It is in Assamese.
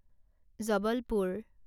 জবলপুৰ